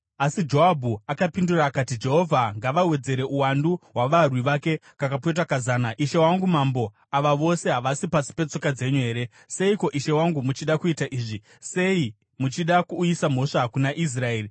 Asi Joabhu akapindura akati, “Jehovha ngavawedzere uwandu hwavarwi vake kakapetwa kazana. Ishe wangu mambo, ava vose havasi pasi petsoka dzenyu here? Seiko ishe wangu muchida kuita izvi? Sei muchida kuuyisa mhosva kuna Israeri?”